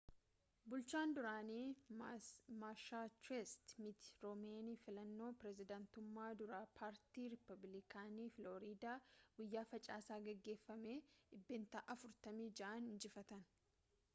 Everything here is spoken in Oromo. bulchaan duraanii massachusetts mitt romney filannoo pirezedaantumma duraa paartii ripablikaanii filorida guyyaa facaasaa geggeeffame dhibbeentaa 46’n injifatan